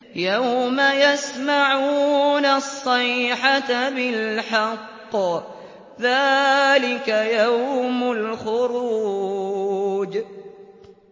يَوْمَ يَسْمَعُونَ الصَّيْحَةَ بِالْحَقِّ ۚ ذَٰلِكَ يَوْمُ الْخُرُوجِ